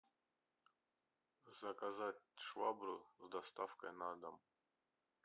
заказать швабру с доставкой на дом